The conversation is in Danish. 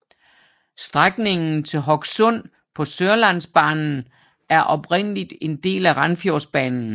Strækningen til Hokksund på Sørlandsbanen var oprindeligt en del af Randsfjordbanen